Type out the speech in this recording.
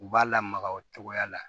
U b'a lamaga o cogoya la